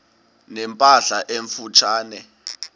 ne mpahla emfutshane